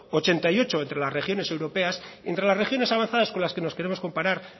ochenta y ocho entre las regiones europeas entre las regiones avanzadas con las que nos queremos comparar